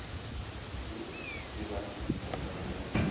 se ke ba senyega go